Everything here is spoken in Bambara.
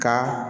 Ka